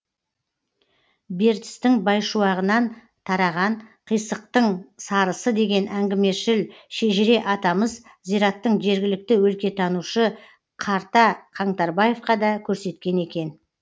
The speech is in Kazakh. бертістің байшуағынан тараған қисықтың сарысы деген әңгімешіл шежіре атамыз зираттың жергілікті өлкетанушы қарта қаңтарбаевқа да көрсеткен екен